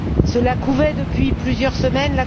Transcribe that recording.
Cela couvait depuis plusieurs semaines.